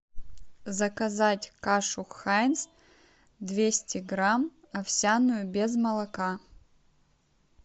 заказать кашу хайнц двести грамм овсяную без молока